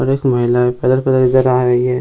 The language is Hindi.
और एक महिला इधर आ रही है।